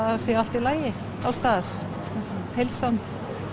það sé allt í lagi alls staðar heilsan